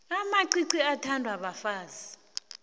amacici athandwa bafazi